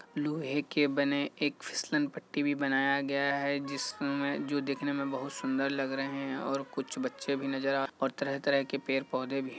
लोहे के बने एक फिसलन पट्टी भी बनाया गया है जिसमें जो दिखने में बहुत सुन्दर लग रहे है और कुछ बच्चे भी नजर आ और तरह-तरह के पेड़-पौधे भी --